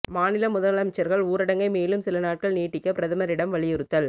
மாநில முதலமைச்சர்கள் ஊரடங்கை மேலும் சில நாட்கள் நீட்டிக்க பிரதமரிடம் வலியுறுத்தல்